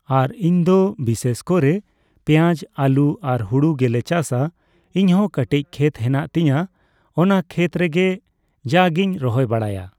ᱟᱨ ᱤᱧᱫᱚ ᱵᱤᱥᱮᱥᱠᱚᱨᱮ ᱯᱮᱸᱭᱟᱡ ᱟᱹᱞᱩ ᱟᱨ ᱦᱩᱲᱩ ᱜᱮᱞᱮ ᱪᱟᱥᱟ ᱤᱧᱦᱚᱸ ᱠᱟᱴᱤᱪ ᱠᱷᱮᱛ ᱦᱮᱱᱟᱜ ᱛᱤᱧᱟᱹ ᱚᱱᱟ ᱠᱷᱮᱛᱨᱮᱜᱮ ᱡᱟᱜᱤᱧ ᱨᱚᱦᱚᱭ ᱵᱟᱲᱟᱭᱟ ᱾